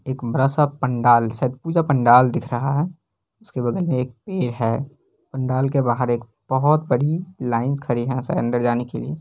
एक बड़ा सा पंडाल शायद पूजा पंडाल दिख रहा है उसके बगल में एक पेड़ है पंडाल के बाहर एक बहोत बड़ी लाइन खड़ी है अंदर जाने के लिए।